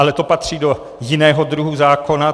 Ale to patří do jiného druhu zákona.